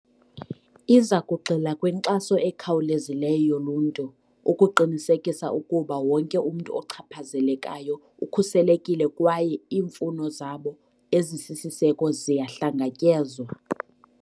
Iza kugxila kwinkxaso ekhawulezileyo yoluntu, ukuqinisekisa ukuba wonke umntu ochaphazelekayo ukhuselekile kwaye iimfuno zabo ezisisiseko ziyahlangatyezwa.